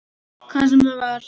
Hvað sem það var.